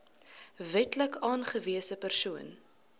wetlik aangewese persoon